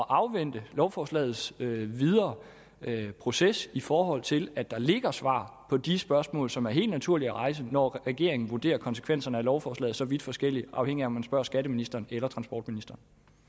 afvente lovforslagets videre proces i forhold til at der ligger svar på de spørgsmål som er helt naturlige at rejse når regeringen vurderer konsekvenserne af lovforslaget så vidt forskelligt afhængigt af om man spørger skatteministeren eller transportministeren